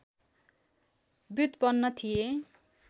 व्युत्पन्न थिए